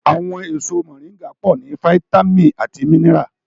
Àwọn èso mọ̀ríńgà pọ̀ ní fáyítámìnì àti mínírà